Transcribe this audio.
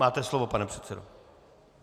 Máte slovo, pane předsedo.